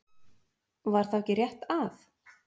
Var þá ekki rétt að?